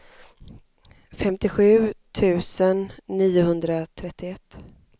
femtiosju tusen niohundratrettioett